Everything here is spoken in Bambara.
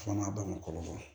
Fana b'a kɔrɔbaya